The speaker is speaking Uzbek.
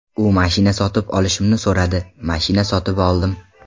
U mashina sotib olishimni so‘radi, mashina sotib oldim.